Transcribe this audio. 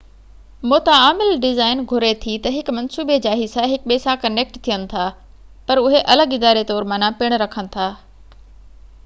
متعامل design گهري ٿي ته هڪ منصوبي جا حصا هڪ ٻئي سان ڪنيڪٽ ٿين ٿا، پر هڪ الڳ اداري طور معنيٰ پن رکن ٿا